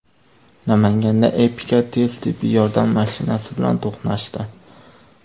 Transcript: Namanganda Epica tez tibbiy yordam mashinasi bilan to‘qnashdi.